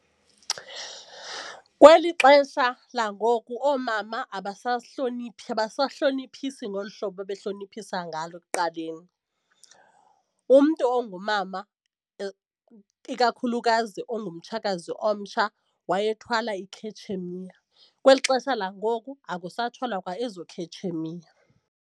Kweli xesha langoku oomama abasasihloniphi abasahloniphisi ngolu hlobo babehloniphisa ngalo ekuqaleni. Umntu ongumama ikakhulukazi ungumtshakazi omtsha wayethwala ikhetshemiya. Kweli xesha langoku akusathwalwa kwa ezo khetshemiya.